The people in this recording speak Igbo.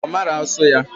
Mba, Omara asu ya